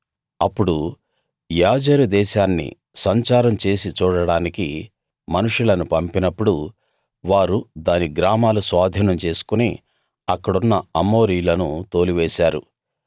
అప్పుడు యాజెరు దేశాన్ని సంచారం చేసి చూడడానికి మోషే మనుషులను పంపినప్పుడు వారు దాని గ్రామాలు స్వాధీనం చేసుకుని అక్కడున్న అమోరీయులను తోలివేశారు